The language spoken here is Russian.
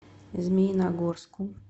змеиногорску